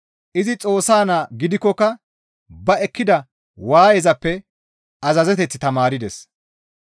Izi Xoossa Naa gidikkoka ba ekkida waayezappe azazeteth tamaardes.